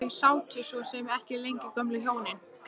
Þau sátu svo sem ekki lengi gömlu hjónin.